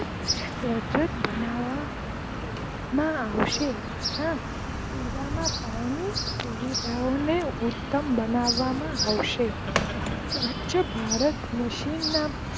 સજ્જન બનાવામાં આવશે પીવાના પાણી ની સુવિધા ને ઉત્તમ બનાવામાં આવશે સ્વચ્છ ભારત, મિશન માં